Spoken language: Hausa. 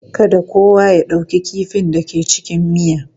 Kada kowa ya ɗauki kifin da ke cikin miya.